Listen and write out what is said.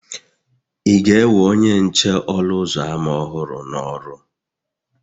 Ị ga-ewe onye nche ọnụ ụzọ ámá ọhụrụ n'ọrụ?